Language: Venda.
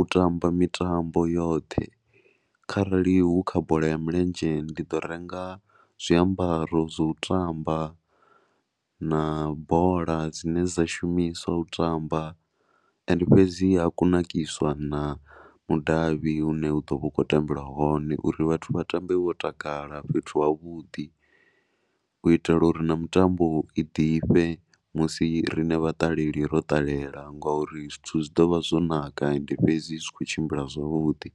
u tamba mitambo yoṱhe kharali hu kha bola ya milenzhe ndi ḓo renga zwiambaro zwo tamba na bola dzine dza shumiswa u tamba. Ende fhedzi ha kunakiswa na mudavhi u ne hu ḓo vha hu khou tambelwa hone uri vhathu vha tambe vho takala fhethu havhuḓi u itela uri na mitambo i ḓifhe musi riṋe vhaṱaleli ro ṱalela ngori zwithu zwi ḓo vha zwo naka ende fhedzi zwi khou tshimbila zwavhuḓi.